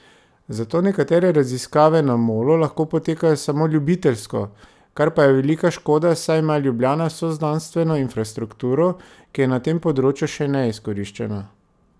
Zato nekatere raziskave na Molu lahko potekajo samo ljubiteljsko, kar pa je velika škoda, saj ima Ljubljana vso znanstveno infrastrukturo, ki je na tem področju še neizkoriščena.